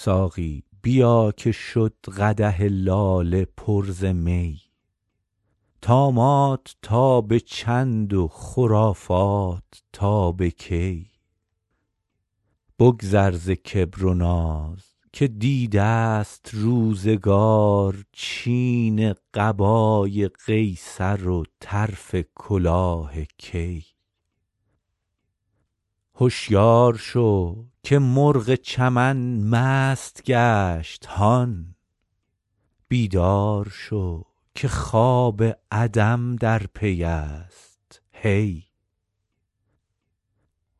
ساقی بیا که شد قدح لاله پر ز می طامات تا به چند و خرافات تا به کی بگذر ز کبر و ناز که دیده ست روزگار چین قبای قیصر و طرف کلاه کی هشیار شو که مرغ چمن مست گشت هان بیدار شو که خواب عدم در پی است هی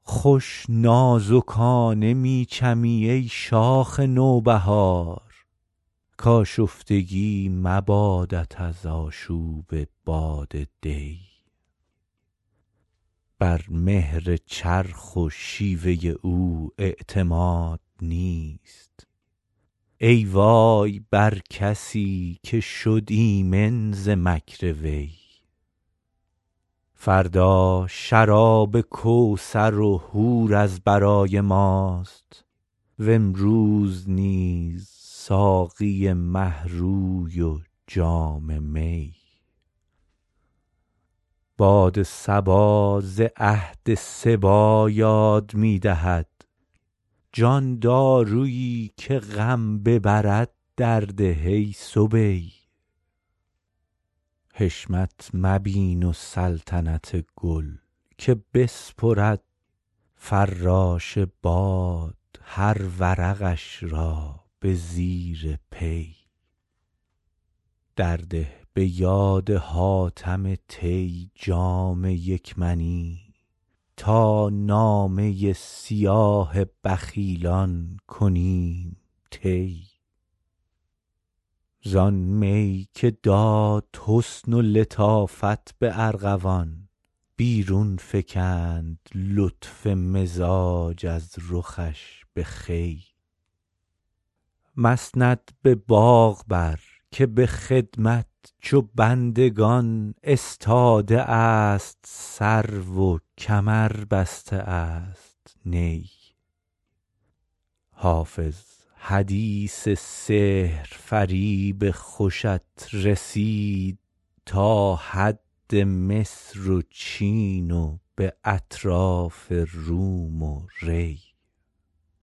خوش نازکانه می چمی ای شاخ نوبهار کآشفتگی مبادت از آشوب باد دی بر مهر چرخ و شیوه او اعتماد نیست ای وای بر کسی که شد ایمن ز مکر وی فردا شراب کوثر و حور از برای ماست و امروز نیز ساقی مه روی و جام می باد صبا ز عهد صبی یاد می دهد جان دارویی که غم ببرد درده ای صبی حشمت مبین و سلطنت گل که بسپرد فراش باد هر ورقش را به زیر پی درده به یاد حاتم طی جام یک منی تا نامه سیاه بخیلان کنیم طی زآن می که داد حسن و لطافت به ارغوان بیرون فکند لطف مزاج از رخش به خوی مسند به باغ بر که به خدمت چو بندگان استاده است سرو و کمر بسته است نی حافظ حدیث سحرفریب خوشت رسید تا حد مصر و چین و به اطراف روم و ری